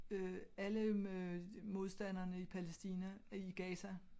Alle øh modstanderne i Palæstina i Gaza